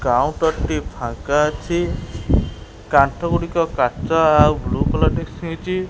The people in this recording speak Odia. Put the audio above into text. କାଉଣ୍ଟର ଟି ଫାଙ୍କା ଅଛି କାନ୍ଥ ଗୁଡ଼ିକ କାଚ ଆଉ ବ୍ଲୁ କଲର ହେଇଛି।